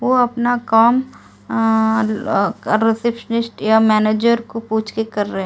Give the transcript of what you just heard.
वो अपना काम रिसेप्शनिस्ट या मैनेजर को पूछकर कर रहे है।